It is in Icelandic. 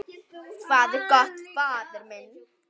Hvað er gott, faðir minn?